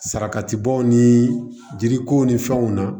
Saraka tibaw ni jiri ko ni fɛnw na